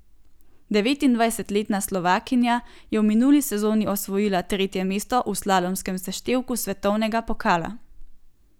Devetindvajsetletna Slovakinja je v minuli sezoni osvojila tretje mesto v slalomskem seštevku svetovnega pokala.